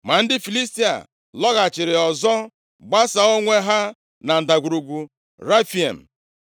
Ma ndị Filistia lọghachiri ọzọ, gbasaa onwe ha na Ndagwurugwu Refaim.